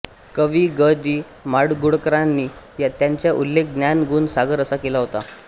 कवी ग दि माडगुळकरयांनी त्यांचा उल्लेख ज्ञान गुण सागर असा केला होता